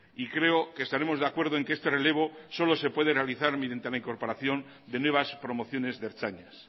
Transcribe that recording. y creo que estaremos de acuerdo que este relevo solo se puede realizar mediante la incorporación de nuevas promociones de ertzainas